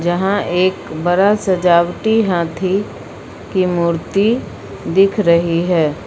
जहां एक बड़ा सजावटी हाथी की मूर्ति दिख रही है।